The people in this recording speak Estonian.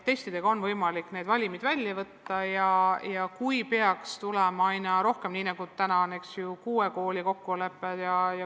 Testidega on võimalik need valimid välja selekteerida ja peaks ehk tulema aina rohkem selliseid kokkuleppeid, nagu praegu on sõlmitud kuue Tallinna kooli vahel.